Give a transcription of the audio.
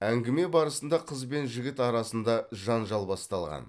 әңгіме барысында қыз бен жігіт арасында жанжал басталған